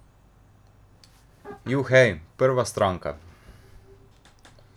Juhej, prva stranka.